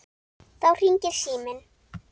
Þá hringir síminn.